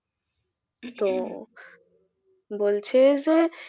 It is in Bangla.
তো বলছে যে